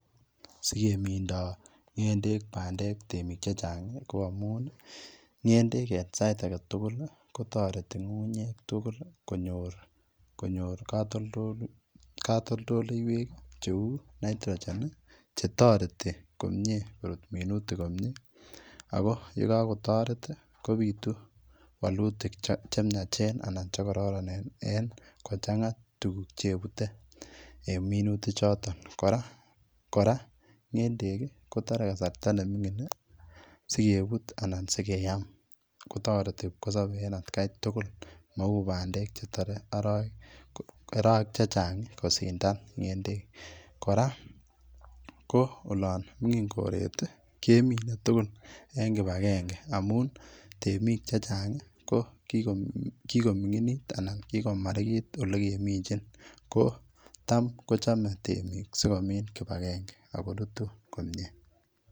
Sikemindo ng'endek bamdek temik chechang ko amun ng'endek en sait agetugul kotoreti ngungunyek konyor kotoltoleiywek cheu nitrogen chetoreti komie korut minutik komie ako yekokotoret kobitu wolutik chemiachen anan chekororonen ingochanga tuguk chepute en minutichoton, koraa ng'endek kotoree kasarta nemingin sikebut anan sikoyaam kotoreti kipkoseobe en atkai tugul mou bandek chetoree oroweek chechang kosindan ng'endek, koraa koo olon mingin koret kemine tugul en kipagenge amun temik chechang kokikoming'init anan kikomarikit ole keminjin kotam kochome temik sikomin kipagenge okorutu komie.